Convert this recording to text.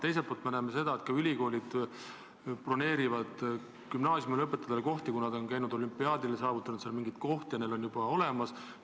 Samas me näeme, et ülikoolid broneerivad kohti gümnaasiumilõpetajatele, kes on käinud olümpiaadidel ja saavutanud seal häid kohti, neil on juba edasise õppimise võimalus olemas.